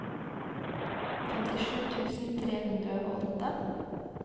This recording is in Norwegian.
femtisju tusen tre hundre og åtte